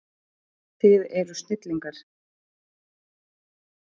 Þið eruð snillingar.